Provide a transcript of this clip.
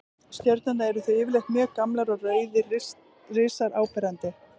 Stjörnurnar eru því yfirleitt mjög gamlar og rauðir risar áberandi.